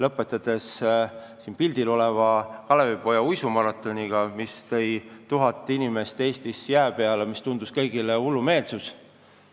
Näiteks siin pildil olev Kalevipoja uisumaraton tõi tuhat inimest jää peale, mis tundus kõigile hullumeelsus.